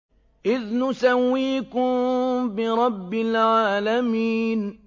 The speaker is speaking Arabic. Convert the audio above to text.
إِذْ نُسَوِّيكُم بِرَبِّ الْعَالَمِينَ